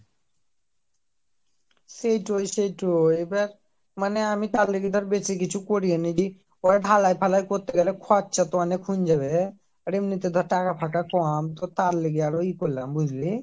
সেই টো সেই টো এবার মানে আমি টার লেগে বেশিকিছু কোরিওনি পরে ঢালাই ফালাই করতে গেলে খরচা তো ওনেক হয়ে যাবে আর এমনি তে যা টাকা ফাকা কম তো তার লেগে আরো এএয়া করলাম বুঝলি